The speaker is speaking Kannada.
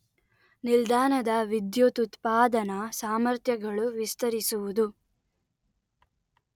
ನಿಲ್ದಾಣದ ವಿದ್ಯುತ್ ಉತ್ಪಾದನಾ ಸಾಮರ್ಥ್ಯಗಳು ವಿಸ್ತರಿಸುವುದು